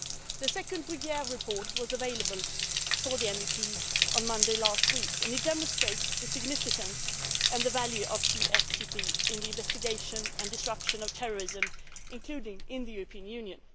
The second Bruguière report was made available to MEPs on Monday last week, and it demonstrates the significance and the value of TFTP in the investigation and disruption of terrorism, including in the European Union.